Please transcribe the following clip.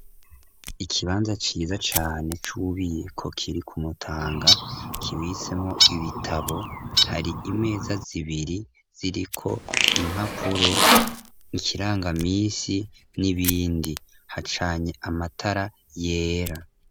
Ikibanza ciza cane c'ububiko kiri ku Mutanga kibitsemwo ibitabo, hari imeza zibiri ziriko impapuro n'ikiranga minsi n'ibindi, hacanye amatara yera.